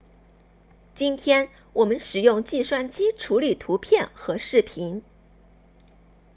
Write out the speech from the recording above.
今天我们使用计算机处理图片和视频